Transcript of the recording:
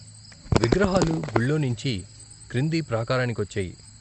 విగ్రహాలు గుళ్ళో నించి క్రింది ప్రాకారానికొచ్చాయి.